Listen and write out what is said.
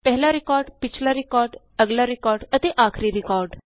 ਪਹਿਲਾ ਰਿਕਾਰਡ ਪਿਛਲਾ ਰਿਕਾਰਡ ਅਗਲਾ ਰਿਕਾਰਡ ਅਤੇ ਆਖਰੀ ਰਿਕਾਰਡ